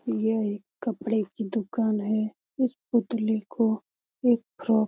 यह एक कपड़े की दुकान है इस पुतली को एक फ्रॉक --